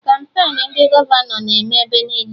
Kampain ndị gọvanọ na-eme ebe niile